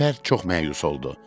Alper çox məyus oldu.